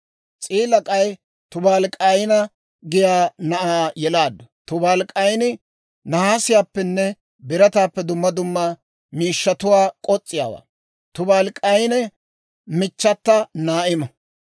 S'iila k'ay Tubaalik'ayna giyaa na'aa yelaaddu; Tubaalik'ayni nahaasiyaappenne birataappe dumma dumma miishshatuwaa k'os'iyaawaa. Tubaalik'ayna michchata Naa'imo.